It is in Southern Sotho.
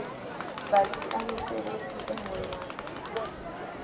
batsi a mesebetsi e ngolwang